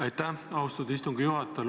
Aitäh, austatud istungi juhataja!